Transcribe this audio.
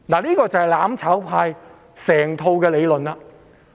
這就是"攬炒派"的整套理論。